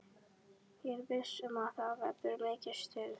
Ég er viss um að það verður mikið stuð.